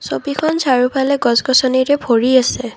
ছবিখন চাৰিওফালে গছ গছনিৰে ভৰি আছে।